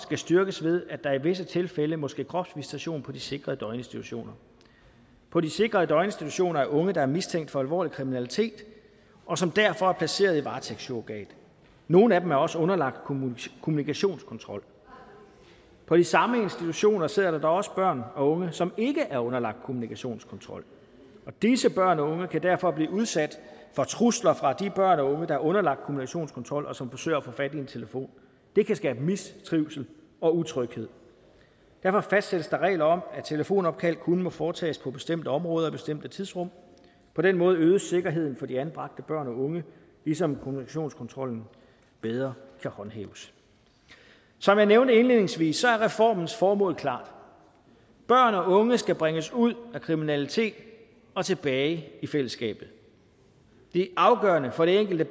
styrkes ved at der i visse tilfælde må ske kropsvisitation på de sikrede døgninstitutioner på de sikrede døgninstitutioner er der unge der er mistænkt for alvorlig kriminalitet og som derfor er placeret i varetægtssurrogat nogle af dem er også underlagt kommunikationskontrol på de samme institutioner sidder der da også børn og unge som ikke er underlagt kommunikationskontrol og disse børn og unge kan derfor blive udsat for trusler fra de børn og unge der er underlagt kommunikationskontrol og som forsøger at få fat i en telefon det kan skabe mistrivsel og utryghed derfor fastsættes der regler om at telefonopkald kun må foretages på bestemte områder og i bestemte tidsrum på den måde øges sikkerheden for de anbragte børn og unge ligesom kommunikationskontrollen bedre kan håndhæves som jeg nævnte indledningsvis er reformens formål klart børn og unge skal bringes ud af kriminalitet og tilbage i fællesskabet det er afgørende for det enkelte